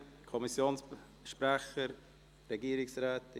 Möchten sich Kommissionssprecher äussern?